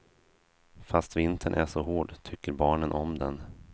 Fast vintern är så hård tycker barnen om den.